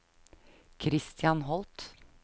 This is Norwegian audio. Kristian Holth